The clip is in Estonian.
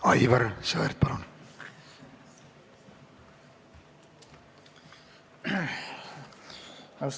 Aivar Sõerd, palun!